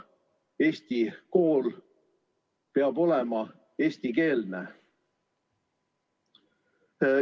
Eesti kool peab olema eestikeelne.